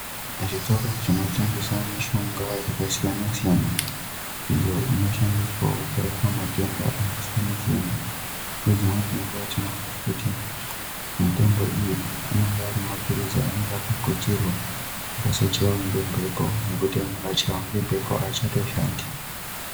Zvitoro zvino tengesa mishonga yaka siyana siyana iyo ino shandiswawo kurapa matenda aka siyana siyana ne dzimweni dze nguva tiona kuti mitombo iyi inonga iri mapirizi anonga aka putirwa asa chaiwa nge mhepo nekuti amwe akachaiwa nge mbepo achato shandi.